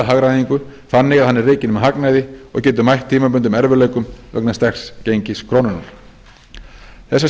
hagræðingu þannig að hann er rekin með hagnaði og getur mætt tímabundnum erfiðleikum vegna sterks gengis krónunnar þessar